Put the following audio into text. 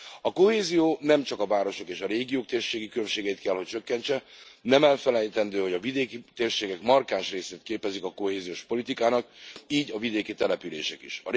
A kohézió nem csak a városok és a régiók térségi különbségeit kell hogy csökkentse, nem elfelejtendő, hogy a vidéki térségek markáns részét képezik a kohéziós politikának, így a vidéki települések is.